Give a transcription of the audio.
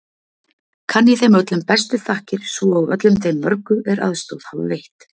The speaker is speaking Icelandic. Kann ég þeim öllum bestu þakkir svo og öllum þeim mörgu, er aðstoð hafa veitt.